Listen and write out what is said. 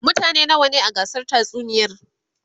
mutane nawa ne a gasar tatsuniyar?